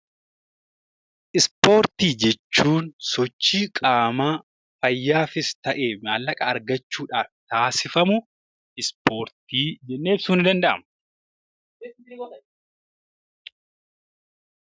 Ispoortii jechuun sochii qaamaa fayyaafis ta'ee maallaqa argachuuf taasifamu ispoortii jennee ibsuun ni danda'ama.